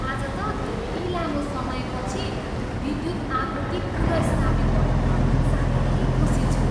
आज त धेरै लामो समयपछि विद्युत आपूर्ति पुनःस्थापित भयो। साह्रै खुसी छु।